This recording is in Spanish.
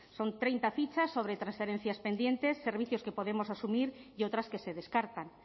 son treinta fichas sobre transferencias pendientes servicios que podemos asumir y otras que se descartan